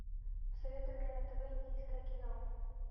посоветуй мне на тв индийское кино